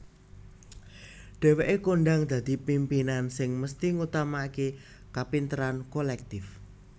Dhéwéke kondhang dadi pimpinan sing mesthi ngutamaakè kapinteran kolèktif